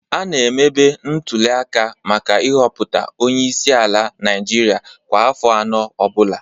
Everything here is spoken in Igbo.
A na-emebe ntulịaka maka ịhọpụta Onye isi ala Naịjirịa kwa afọ anọ ọ bụla